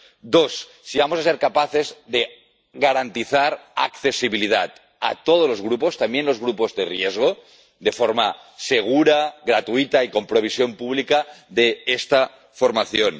Dos si vamos a ser capaces de garantizar accesibilidad a todos los grupos, también a los grupos de riesgo, de forma segura, gratuita y con provisión pública de esta formación.